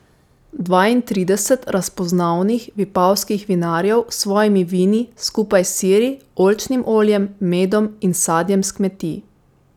Dvaintrideset razpoznavnih vipavskih vinarjev s svojimi vini skupaj s siri, oljčnim oljem, medom in sadjem s kmetij.